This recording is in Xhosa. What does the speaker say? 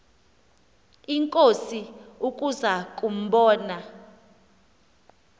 inkosi ukuza kumbona